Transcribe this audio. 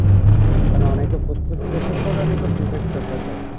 কেননা অনেকে postpaid prefer করে অনেকে prepaid prefer করে